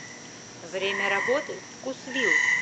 время работы вкусвилл